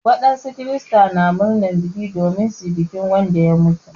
Wadansu kirista na murnar bikin domin su yi bikin Wanda ya mutu.